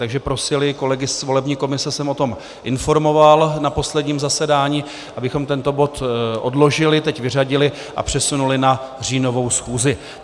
Takže prosili - kolegy z volební komise jsem o tom informoval na posledním zasedání - abychom tento bod odložili, teď vyřadili a přesunuli na říjnovou schůzi.